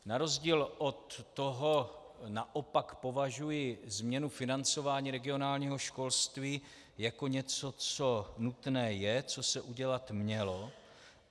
Na rozdíl od toho naopak považuji změnu financování regionálního školství jako něco, co nutné je, co se udělat mělo.